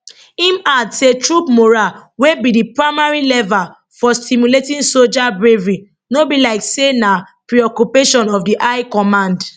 im add say troop morale wey be di primary lever for stimulating soja bravery no be like say na preoccupation of the high command